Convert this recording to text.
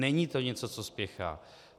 Není to něco, co spěchá.